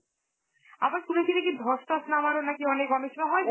আবার শুনেছি নাকি ধস টস নামারও নাকি অনে~ অনেক সময় হয়